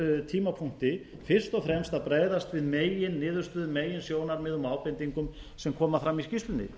tímapunkti fyrst og fremst að bregðast við meginniðurstöðum meginsjónarmiðum og ábendingum sem koma fram i skýrslunni